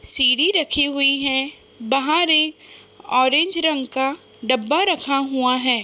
सीढ़ी रखी हुई है। बाहर एक ऑरेंज रंग का डब्बा रखा हुआ है।